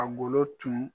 A golo tun